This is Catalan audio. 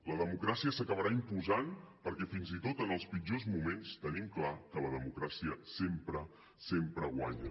la democràcia s’acabarà imposant perquè fins i tot en els pitjors moments tenim clar que la democràcia sempre sempre guanya